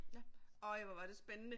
Ja, øj hvor var det spændende